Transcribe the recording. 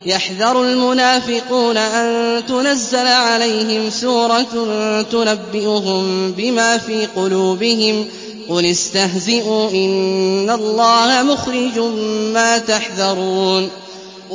يَحْذَرُ الْمُنَافِقُونَ أَن تُنَزَّلَ عَلَيْهِمْ سُورَةٌ تُنَبِّئُهُم بِمَا فِي قُلُوبِهِمْ ۚ قُلِ اسْتَهْزِئُوا إِنَّ اللَّهَ مُخْرِجٌ مَّا تَحْذَرُونَ